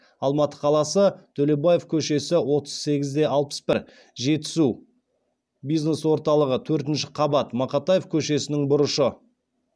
алматы қаласы төлебаев көшесі отыз сегіз де алпыс бір жетісу бизнес орталығы төртінші қабат